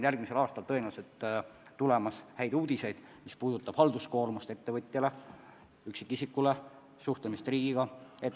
Järgmisel aastal kuuleme tõenäoliselt häid uudiseid, mis puudutavad ettevõtjate ja üksikisikute halduskoormust ja suhtlemist riigiga.